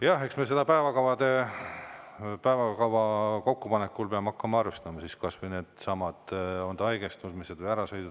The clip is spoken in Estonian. Jah, eks me päevakava kokkupanekul peame hakkama arvestama kas või neidsamu haigestumisi või ärasõite.